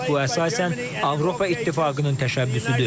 Bu əsasən Avropa İttifaqının təşəbbüsüdür.